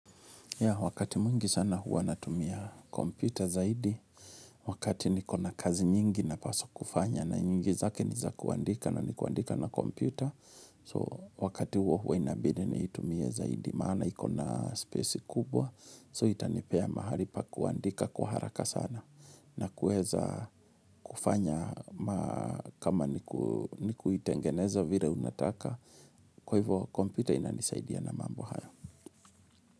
Wakati mwingi sana huwa natumia kompyuta zaidi, wakati niko na kazi nyingi na paswa kufanya na nyingi zake niza kuandika na ni kuandika na kompyuta, so wakati huwa huwa inabidi nitumie zaidi maana iko na spesi kubwa, so itanipea mahali pa kuandika kuharaka sana na kueza kufanya kama ni kuitengeneza vile unataka, kwa hivyo kompyuta inanisaidia na mambo haya.